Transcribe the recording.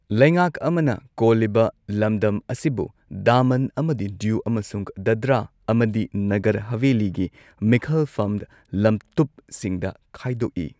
ꯂꯩꯉꯥꯛ ꯑꯃꯅ ꯀꯣꯜꯂꯤꯕ ꯂꯝꯗꯝ ꯑꯁꯤꯕꯨ ꯗꯃꯟ ꯑꯃꯗꯤ ꯗꯤꯎ ꯑꯃꯁꯨꯡ ꯗꯥꯗ꯭ꯔꯥ ꯑꯃꯗꯤ ꯅꯒꯔ ꯍꯥꯕꯦꯂꯤꯒꯤ ꯃꯤꯈꯜꯐꯝ ꯂꯝꯇꯨꯞꯁꯤꯡꯗ ꯈꯥꯏꯗꯣꯛꯏ꯫